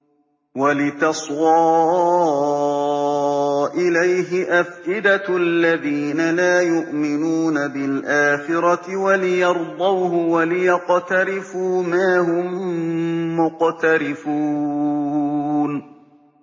وَلِتَصْغَىٰ إِلَيْهِ أَفْئِدَةُ الَّذِينَ لَا يُؤْمِنُونَ بِالْآخِرَةِ وَلِيَرْضَوْهُ وَلِيَقْتَرِفُوا مَا هُم مُّقْتَرِفُونَ